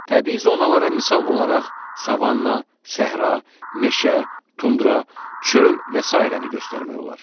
Təbii zonalara misal olaraq savanna, səhra, meşə, tundra, çöl və sairəni göstərmək olar.